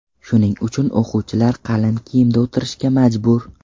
Shuning uchun o‘quvchilar qalin kiyimda o‘tirishga majbur.